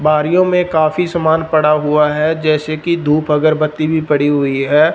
बारियों मे काफी समान पड़ा हुआ है जैसे कि धूप अगरबत्ती भी पड़ी हुई है।